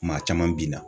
Maa caman benna